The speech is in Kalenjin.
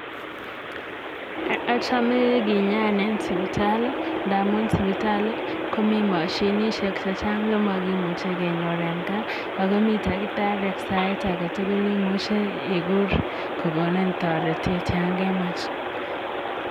Achame kenyaan en sipitali ndamun sipitali komi mashinishek che makimuche kenyor en gaa akumit takitari sait age tukul imuche ikur kokonin toretet yangemach.